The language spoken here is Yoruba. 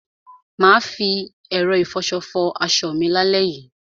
Mà á fi ẹ̀rọ ìfọṣọ fọ aṣọ mi lálẹ́ yìí.